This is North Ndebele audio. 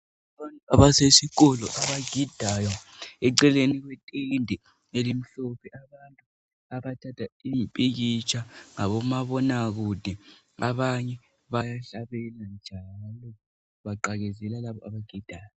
Abasesikolo abagidayo eceleni kuletende elimhlophe abathatha impikitsha ngabomabonakude. Abanye bayahlabela njalo baqakezela labo abagidayo.